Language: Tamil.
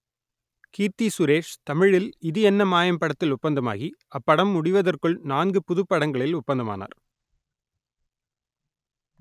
கீர்த்தி சுரேஷ் தமிழில் இது என்ன மாயம் படத்தில் ஒப்பந்தமாகி அப்படம் முடிவதற்குள் நான்கு புதுப்படங்களில் ஒப்பந்தமானார்